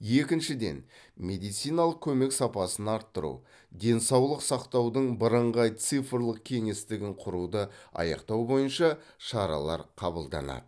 екіншіден медициналық көмек сапасын арттыру денсаулық сақтаудың бірыңғай цифрлық кеңістігін құруды аяқтау бойынша шаралар қабылданады